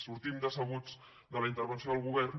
sortim decebuts de la intervenció del govern